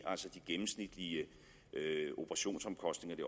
altså de gennemsnitlige operationsomkostninger i